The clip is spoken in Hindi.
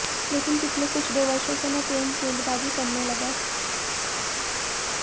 लेकिन पिछले कुछ दो वर्षों से मैं तेज गेंदबाजी करने लगा